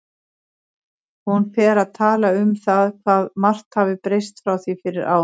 Hún fer að tala um það hvað margt hafi breyst frá því fyrir ári.